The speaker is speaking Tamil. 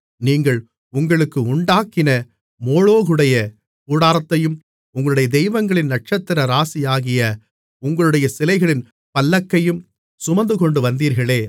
நீங்கள் உங்களுக்கு உண்டாக்கின மோளோகுடைய கூடாரத்தையும் உங்களுடைய தெய்வங்களின் நட்சத்திர ராசியாகிய உங்களுடைய சிலைகளின் பல்லக்கையும் சுமந்துகொண்டு வந்தீர்களே